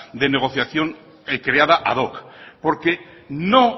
de negociación creada ad hoc porque no